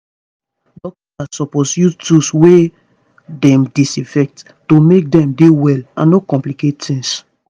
dokita's suppose use tools wey dem disinfect to make dem dey well and no complicate tings